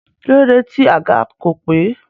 Kílódé tí àga kò pé?